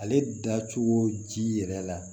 Ale dacogo ji yɛrɛ la